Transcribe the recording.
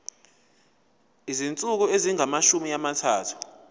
izinsuku ezingamashumi amathathu